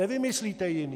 Nevymyslíte jiné.